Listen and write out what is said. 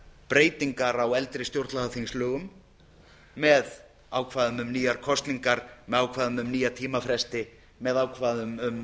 breytingar á eldri stjórnlagaþingslögum með ákvæðum um nýjar kosningar með ákvæðum um nýja tímafresti með ákvæðum um